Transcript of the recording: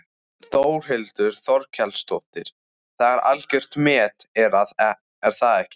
Þórhildur Þorkelsdóttir: Það er algjört met er það ekki?